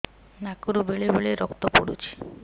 ନାକରୁ ବେଳେ ବେଳେ ରକ୍ତ ପଡୁଛି